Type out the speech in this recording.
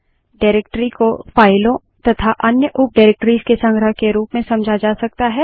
directory को फाइलों तथा अन्य उप डाइरेक्टरीज़ के संग्रह के रूप में समझा जा सकता है